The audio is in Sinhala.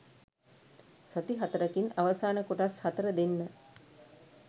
සති හතරකින් අවසාන කොටස් හතර දෙන්න